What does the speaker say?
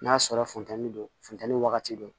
N'a sɔrɔ funtɛni don funtɛni wagati don